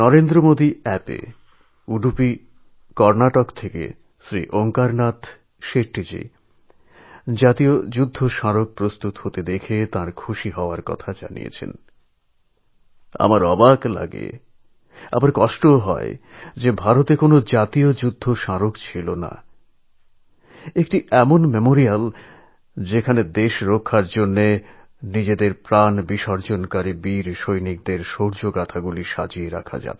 নরেন্দ্র মোদী অ্যাপএ ওড়ুপী কর্ণাটকের Shri Onkar Shettyji national war memorial তৈরি হওয়ায় নিজের প্রসন্নতা ব্যক্ত করেছেন